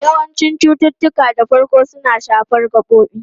Yawancin cututtuka da farko suna shafar gabobin.